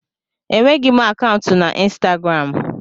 Enweghị m akaụntụ na Instagramụ.